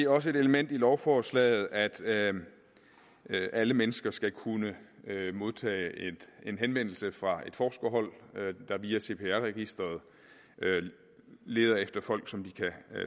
også et element i lovforslaget at alle mennesker skal kunne modtage en henvendelse fra et forskerhold der via cpr registeret leder efter folk som de kan